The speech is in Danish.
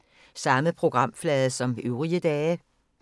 Samme programflade som øvrige dage